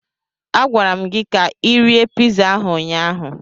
A gwara m gi ka Ị rie piza ahụ ụnyaahụ.